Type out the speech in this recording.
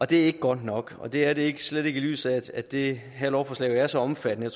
det er ikke godt nok og det er det slet ikke i lyset af at det her lovforslag er så omfattende